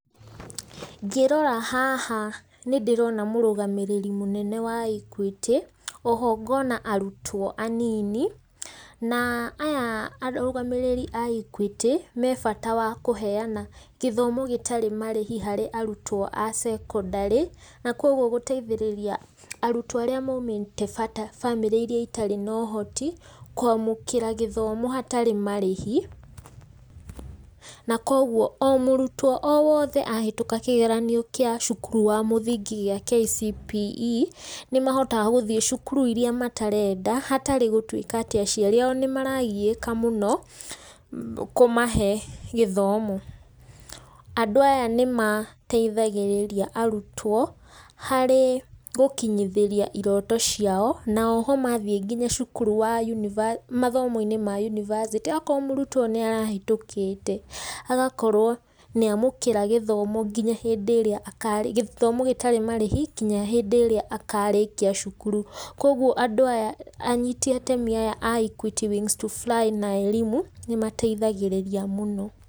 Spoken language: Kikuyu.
Ngĩrora haha nĩ ndĩrona mũrũgamĩrĩri mũnene wa Equity, oho ngona arutwo anini, na aya arũgamĩrĩri a Equity, me bata wa kũheana gĩthomo gĩtarĩ marĩhi harĩ arutwo a secondary, na koguo gũteithĩrĩra arutwo arĩa moimĩte bamĩrĩ iria itarĩ na ũhoti, kwamũkĩra gĩthomo hatarĩ marĩhi. Na koguo o mũrutwo o wothe ahĩtũka kĩgeranio kĩa cukuru wa mũthingi gĩa KCPE, nĩ mahotaga gũthiĩ cukuru iria matarenda, hatarĩ gũtuika atĩ aciari ao nĩ maragiĩka mũno kũmahe gĩthomo. Andũ aya nĩ mateithagĩrĩria arutwo harĩ gũkinyithĩria iroto ciao, na oho mathiĩ nginya cukuru wa mathomo-inĩ ma university okorwo mũrutwo nĩ arahĩtũkĩte, agakorwo nĩ amũkĩra gĩthomo nginya hĩndĩ ĩrĩa akarĩ gĩthomo gĩtarĩ marĩhi nginya hĩndĩ ĩrĩa akarĩkia cukuru. Kogwo andũ aya, anyiti atemi aya a Equity Wings to Fly na] Elimu nĩ mateithagĩrĩria mũno.